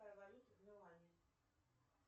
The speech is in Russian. какая валюта в милане